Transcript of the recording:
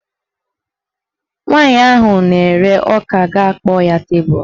Nwaanyị ahụ na-ere ọka ga-akpọ ya tebulu